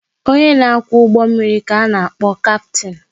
Onye na kwá ụgbọ mmiri ka a na-akpọ Kaptin